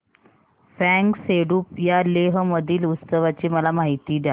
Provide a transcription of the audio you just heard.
फ्यांग सेडुप या लेह मधील उत्सवाची मला माहिती द्या